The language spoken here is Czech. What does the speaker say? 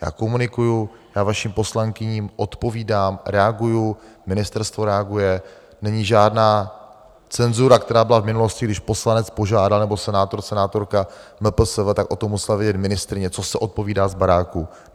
Já komunikuji, já vašim poslankyním odpovídám, reaguji, ministerstvo reaguje, není žádná cenzura, která byla v minulosti, když poslanec požádal, nebo senátor, senátorka, MPSV, tak o tom musela vědět ministryně, co se odpovídá z baráku.